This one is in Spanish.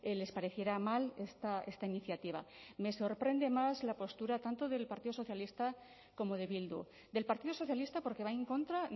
les pareciera mal esta iniciativa me sorprende más la postura tanto del partido socialista como de bildu del partido socialista porque va en contra